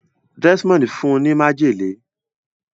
Desmond fún ní májèlé.